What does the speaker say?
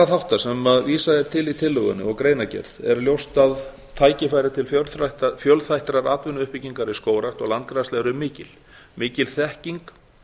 þátta sem vísað er til í tillögunni og greinargerð er ljóst að tækifæri til fjölþættrar atvinnuuppbyggingar í skógrækt og landgræðslu eru mikil mikil þekking